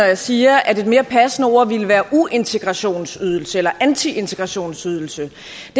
jeg siger at et mere passende ord ville være uintegrationsydelse eller antiintegrationsydelse